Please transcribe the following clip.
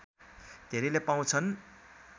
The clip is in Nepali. धेरैले पाउँछन्